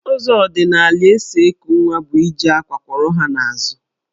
Ụzọ ọdịnala e si eku nwa bụ iji àkwá kwọrọ ha n'azụ.